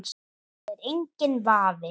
Það er enginn vafi.